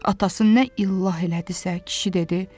Atası nə illah elədisə, kişi dedi: